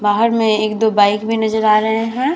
बाहर में एक-दो बाइक भी नजर आ रहे हैं।